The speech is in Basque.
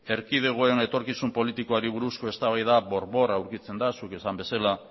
erkidegoen etorkizun politikoari buruzko eztabaida bor bor aurkitzen da zuk esan bezala